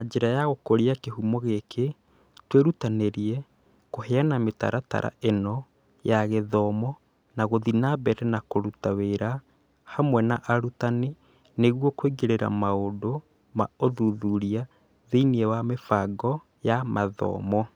Na njĩra ya gũkũria kĩhumo gĩkĩ, twĩrutanĩirie kũheana mĩtaratara ĩno ya gĩthomo na gũthiĩ na mbere na kũruta wĩra hamwe na arutani nĩguo Kũingĩria maũndũ ma ũthuthuria thĩinĩ wa mĩbango ya mathomo